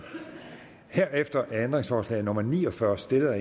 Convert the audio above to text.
herefter er ændringsforslag nummer ni og fyrre stillet af